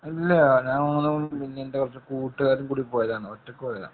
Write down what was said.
അല്ല ഞാന്‍ മാത്ര ഒന്നുമല്ല. എന്‍റെ കുറച്ചു കൂട്ടുകാരും കൂടി പോയതാണ്. ഒറ്റയ്ക്ക് പോയതാണ്.